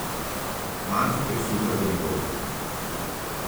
Malce presuha za njegov okus.